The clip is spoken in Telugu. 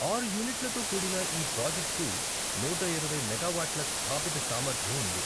ఆరు యూనిట్లతో కూడిన ఈ ప్రాజెక్ట్కు నూట ఇరవై మెగావాట్ల స్థాపిత సామర్థ్యం ఉంది.